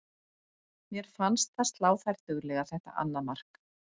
Mér fannst það slá þær duglega þetta annað mark.